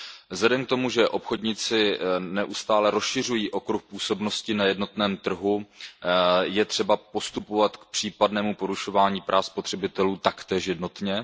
Vzhledem k tomu, že obchodníci neustále rozšiřují okruh působnosti na jednotném trhu, je třeba přistupovat k případnému porušování práv spotřebitelů taktéž jednotně.